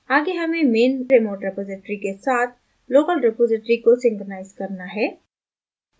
आगे हमें main remote repository के साथ local रिपॉज़िटरी को synchronize करना है